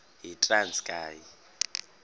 yitranskayi